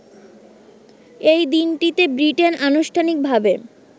এই দিনটিতে ব্রিটেন আনুষ্ঠানিকভাবে